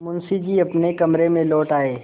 मुंशी जी अपने कमरे में लौट आये